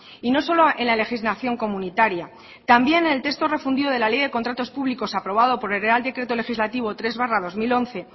y no solo en la legislación comunitaria también el texto refundido de la ley de contratos públicos aprobado por el real decreto legislativo tres barra dos mil once